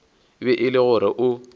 be e le gore o